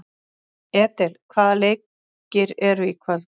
Edel, hvaða leikir eru í kvöld?